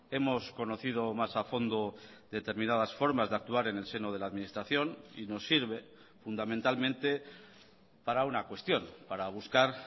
hemos conocido más a fondo determinadas formas de actuar en el seno de la administración y nos sirve fundamentalmente para una cuestión para buscar